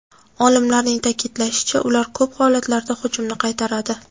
Olimlarning ta’kidlashicha, ular ko‘p holatlarda hujumni qaytaradi.